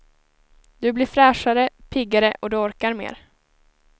Du blir fräschare, piggare och du orkar mera.